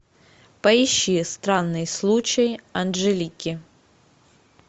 поищи странный случай анжелики